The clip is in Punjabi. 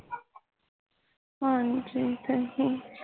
ਹਾਂਜੀ